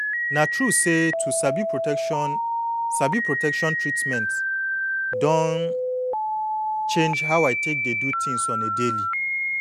na true say to sabi protection sabi protection treatment don change how i take dey do things on a daily